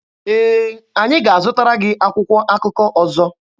Ee, anyị ga-azụtara gị akwụkwọ akụkọ ọzọ.